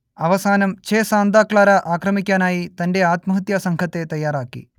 അവസാനം Che Santa Clara ആക്രമിക്കാനായി തന്റെ ആത്മഹത്യാ സംഘത്തെ തയ്യാറാക്കി